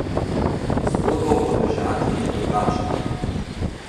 Zgodba v Podmežakli je drugačna.